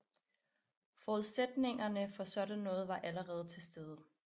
Forudsætningerne for noget sådan var allerede til stede